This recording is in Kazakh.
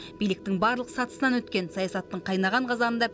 биліктің барлық сатысынан өткен саясаттың қайнаған қазанында